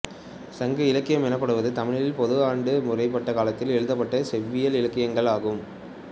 சங்க இலக்கியம் எனப்படுவது தமிழில் பொது ஆண்டுக்கு முற்பட்ட காலப்பகுதியில் எழுதப்பட்ட செவ்வியல் இலக்கியங்கள் ஆகும்